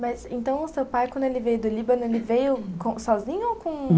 Mas, então, o seu pai, quando ele veio do Líbano, ele veio com sozinho ou com